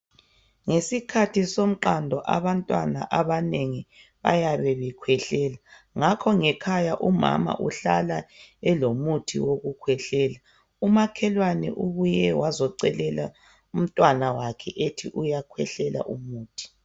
Ngezikhathi somqando abantwana abanengi bayabe bekwehlela ngakho ngekhaya umama uhlala elomuthi wokukwehlela umakelwane ubuye wazocelela umntwana wakhe eti uyakwehlela umuthi.